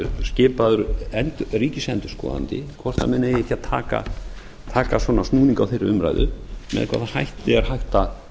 skipaður ríkisendurskoðandi hvort menn eigi ekki að taka svona snúning á þeirri umræðu með hvaða hætti er hægt að